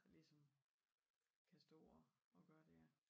Der ligesom kan stå og kan gøre det ja